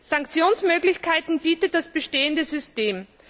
Sanktionsmöglichkeiten bietet das bestehende System.